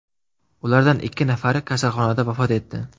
Ulardan ikki nafari kasalxonada vafot etdi.